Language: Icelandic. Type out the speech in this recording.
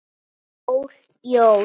Jól, jól.